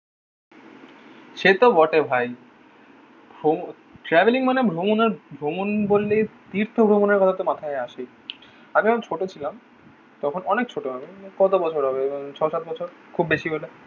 সে তো বটে ভাই ভ্র ট্রাভেলিং মানে ভ্রমণ আর ভ্রমণ বললেই তীর্থ ভ্রমণের কথা তো মাথায় আসেই। আগে যখন ছোট ছিলাম তখন অনেক ছোট আমি কত বছর হবে? ওই ছয সাত বছর খুব বেশি হলে।